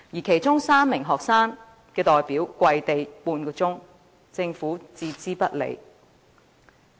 其中，有3名學生代表跪地半小時，政府卻置之不理。